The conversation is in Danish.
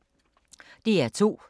DR2